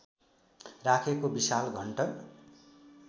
राखेको विशाल घण्ट